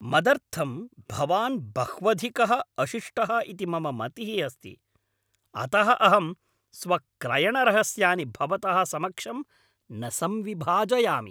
मदर्थं भवान् बह्वधिकः अशिष्टः इति मम मतिः अस्ति, अतः अहं स्वक्रयणरहस्यानि भवतः समक्षं न संविभाजयामि।